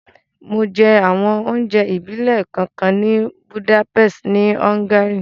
Mo jẹ àwọn onjẹ ìbílẹ̀ kánkan ni Budapest ni Hungary